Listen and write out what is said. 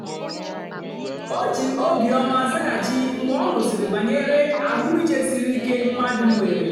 o jì óbìọ́mà zághachì mgbe ọ nụ́sị̀rị́ bànyèrè àhụ́mị̀chè sìrí ìké mmadụ́ nwèrè.